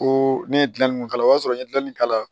Ko ne ye gilanni k'a la o y'a sɔrɔ n ye gilanni k'a la